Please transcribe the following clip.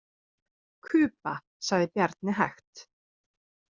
Kuba, sagði Bjarni hægt.